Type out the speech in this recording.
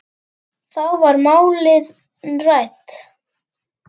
Þá voru málin rædd.